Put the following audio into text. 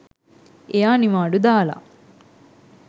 එයා නිවාඩු දාලා